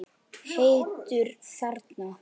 Heitur þarna.